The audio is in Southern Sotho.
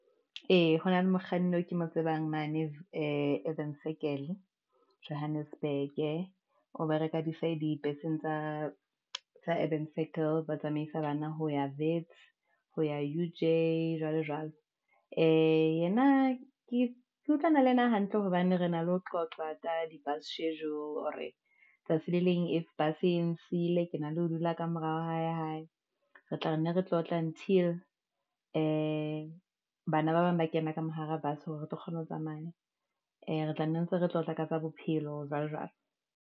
Ee, ho na le mokganni eo ke mo tsebang mane Avion Circle Johannesburg o bereka dibeseng tsa Avion Circle ba tsamaisa bana ho ya Wits ho ya U_J, jwalo jwalo. Ee, yena ke utlwana le yena hantle hobane re na le ho qoqa ka di-bus schedule hore tsatsi le leng if bus e nsile, ke na le dula ka mora wa ha e re tla re nne re tlotle until, bana ba bang ba kena ka mo hara bus hore re tlo kgona ho tsamaya. Ee, re tla nne ntse re tlotla ka tsa bophelo jwalo jwalo.